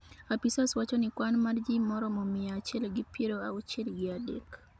Apisas wachoni kwan mar ji maromo mia achiel gi piero auchiel gi adek